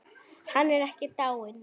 Hann er ekki dáinn.